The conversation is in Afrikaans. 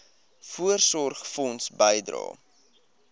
voorsorgfonds bydrae